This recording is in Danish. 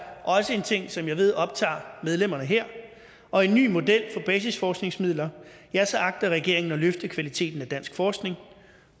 også en ting som jeg ved optager medlemmerne her og en ny model for basisforskningsmidler agter regeringen at løfte kvaliteten af dansk forskning